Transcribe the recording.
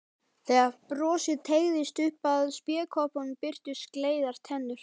Þegar brosið teygðist upp að spékoppunum birtust gleiðar tennur.